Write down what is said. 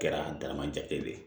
Kɛra dama jate de ye